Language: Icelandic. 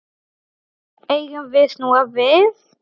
Eigum við snúa við?